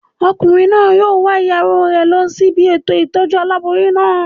Ọkùnrin náà yóò wa ìyàwó rẹ̀ lọ sí ibi ètò ìtọ́jú aláboyún náà